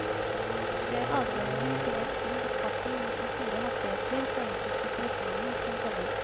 Det er adgangen til å skru opp farten mot de store hastigheter på enkelte strekninger som teller.